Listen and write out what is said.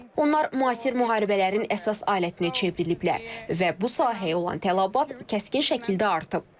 Onlar müasir müharibələrin əsas alətinə çevriliblər və bu sahəyə olan tələbat kəskin şəkildə artıb.